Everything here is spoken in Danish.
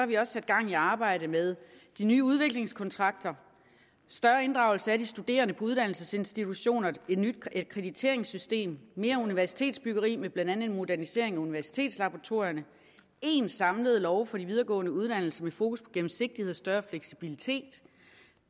vi også sat gang i arbejdet med de nye udviklingskontrakter større inddragelse af de studerende på uddannelsesinstitutioner et nyt akkrediteringssystem mere universitetsbyggeri med blandt andet en modernisering af universitetslaboratorierne én samlet lov for de videregående uddannelser med fokus på gennemsigtighed og større fleksibilitet